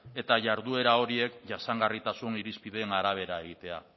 eta jarduera horiek jasangarritasun irizpideen arabera egitea